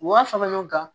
U b'a fɔ ɲɔgɔn kan